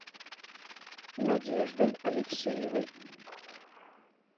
надеждой алексеевой